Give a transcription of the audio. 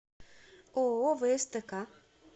ооо встк